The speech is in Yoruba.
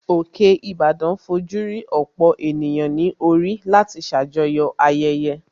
Òkè Ìbàdàn fojú rí ọ̀pọ̀ ènìyàn ní orí láti ṣàjọyọ̀ ayẹyẹ